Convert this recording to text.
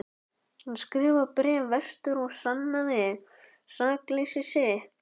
Hann skrifaði bréf vestur og sannaði sakleysi sitt.